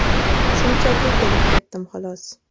Shunchaki kelib-ketdim, xolos.